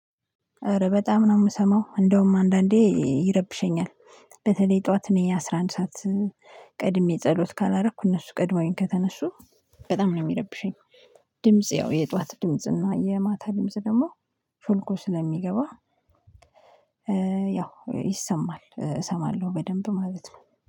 ኧረ በጣም ነው ምሰማው እንደውም አንዳንዴ ይረብሸኛል በተለይ ጠዋት እኔ አስራ አንድ ሰዓት ቀድሜ ጸሎት ካላረኩ እነሱ ቀድመውኝ ከተነሱ በጣም ነው ሚረብሸኝ። ድምጽ ያው የጥዋት ድምጽ እና የማታ ድምጽ ደግሞ ሾልኮ ስለሚገባ ያው ይሰማል እሰማለሁ በደንብ ማለት ነው።